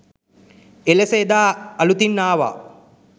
එලෙස එදා අලුතින් ආවා.